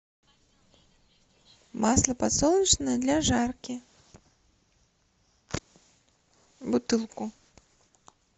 масло подсолнечное для жарки бутылку